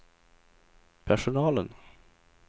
personalen